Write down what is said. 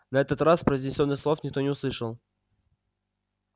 на этот раз произнесённых слов никто не услышал